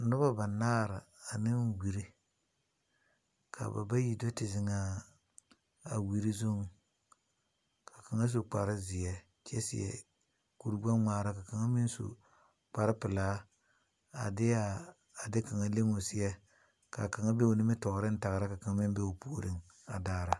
Nobo banaar ane wure. Ka ba bayi do te zeŋ aa, a wure zuŋ. Ka kang su kpar zie kyɛ seɛ kur gbɛ ŋmaara. Ka kanga meŋ su kpar pulaa a de aa, a de kanga lem 'o seɛ. Ka kanga be o nimitooreŋ tagra ka kanga meŋ be o pooreŋ a daara.